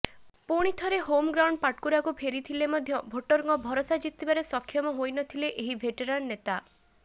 ପୁଣିଥରେ ହୋମଗ୍ରାଉଣ୍ଡ ପାଟକୁରାକୁ ଫେରିଥିଲେ ମଧ୍ୟ ଭୋଟରଙ୍କ ଭରସା ଜିତିବାରେ ସକ୍ଷମ ହୋଇନଥିଲେ ଏହି ଭେଟରାନ୍ ନେତା